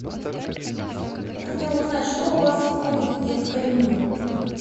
я хотела узнать что у вас входит в детское меню